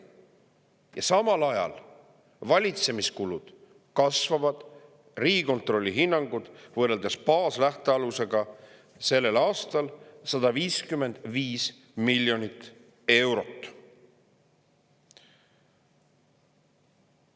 Ja samal ajal valitsemiskulud kasvavad Riigikontrolli hinnangul võrreldes baaslähtealusega sellel aastal 155 miljonit eurot.